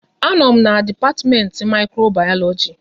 A nọ m n'dipatimenti Mikrobayoloji